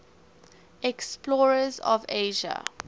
explorers of asia